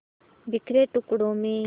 बिखरे टुकड़ों में